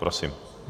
Prosím.